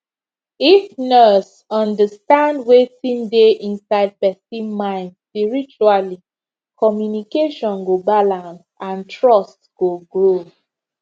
if nurse understand wetin dey inside person mind spiritually communication go balance and trust go grow